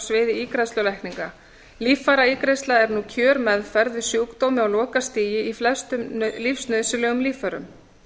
sviði ígræðslulækninga líffæraígræðsla er nú kjörmeðferð við sjúkdómi á lokastigi í flestum lífsnauðsynlegum líffærum